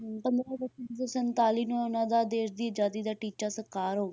ਹਮ ਪੰਦਰਾਂ ਅਗਸਤ ਉੱਨੀ ਸੌ ਸੰਤਾਲੀ ਨੂੰ ਇਹਨਾਂ ਦਾ ਦੇਸ ਦੀ ਆਜ਼ਾਦੀ ਦਾ ਟੀਚਾ ਸਾਕਾਰ ਹੋ,